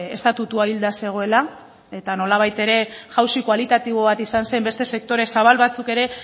estatutua hilda zegoela eta nolabait ere jauzi kualitatibo bat izan zen beste sektore zabal batzuk ere